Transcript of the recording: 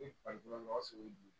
I faso dun